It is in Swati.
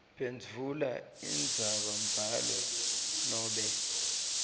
phendvula indzabambhalo nobe